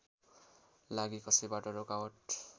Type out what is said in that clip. लागी कसैबाट रोकावट